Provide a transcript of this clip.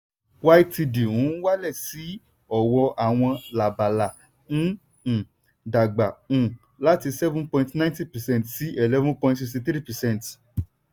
ytd n wálẹ̀ sí i ọ̀wọ́ àwọn lábala n um dàgbà um láti seven point ninety percent sí eleven point sixty three percent